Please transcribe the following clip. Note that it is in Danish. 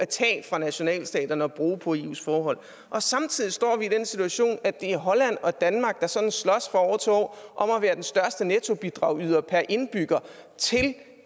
tage fra nationalstaterne og bruge på eus forhold og samtidig står vi i den situation at det er holland og danmark der sådan slås fra år til år om at være den største nettobidragyder per indbygger til